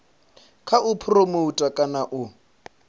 kha u phuromotha kana u